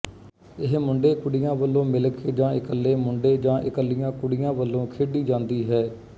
ਇਹ ਮੁੰਡੇਕੁੜੀਆਂ ਵੱਲੋਂ ਮਿਲ ਕੇ ਜਾਂ ਇਕੱਲੇ ਮੁੰਡੇ ਜਾਂ ਇਕੱਲੀਆਂ ਕੁਡੀਆਂ ਵੱਲੋਂ ਖੇਡੀ ਜਾਂਦੀ ਹੈ